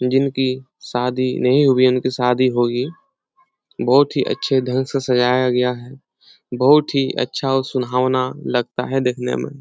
जिनकी शादी नहीं हुई है उनकी शादी होगी। बहुत ही अच्छे ढंग से सजाया गया है। बहुत ही अच्छा और सुहावना लगता है देखने में।